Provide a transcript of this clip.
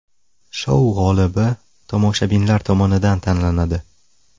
Shou g‘olibi tomoshabinlar tomonidan tanlanadi.